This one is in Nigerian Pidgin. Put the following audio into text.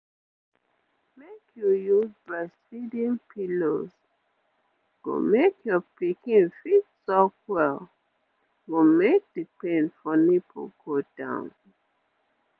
wait oh make you use breastfeeding pillows go make your pikin fit suck well go make the pain for nipple go down